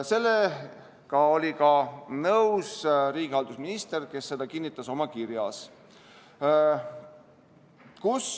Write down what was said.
Sellega oli nõus ka riigihalduse minister, kes kinnitas seda oma kirjas.